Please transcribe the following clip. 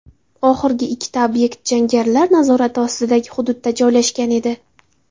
Oxirgi ikkita obyekt jangarilar nazorati ostidagi hududda joylashgan edi.